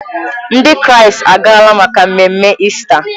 Ndị Kraịst agaala maka mmemme Ista.